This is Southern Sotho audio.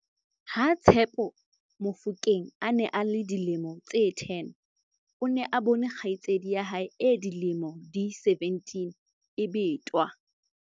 Ha- Tshepo Mofokeng a ne a le dilemo tse 10, o ne a bone kgaitsedi ya hae e dilemo di 17 e betwa.